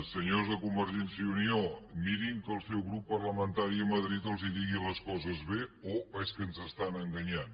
senyors de convergència i unió mirin que el seu grup parlamentari a madrid els digui les coses bé o és que ens estan enganyant